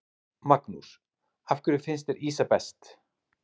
Magnús: Af hverju finnst þér ýsa best?